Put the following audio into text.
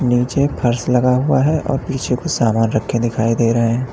नीचे फर्श लगा हुआ है और पीछे को सामान रखा दिखाई दे रहें--